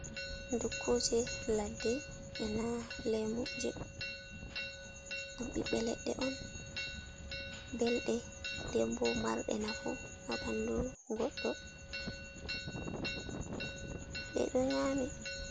Dukkuje ladde e na lemu je ɗum ɓiɓɓe leɗɗe on belɗe dembo marɗe nafu ha ɓandu goɗɗo ɗeɗo nyami.